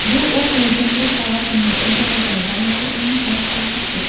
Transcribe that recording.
Bu u prezidentlik lavozimini egallaganidan beri eng past ko‘rsatkich.